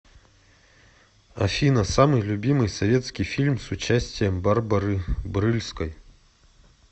афина самый любимый советский фильм с участием барбары брыльской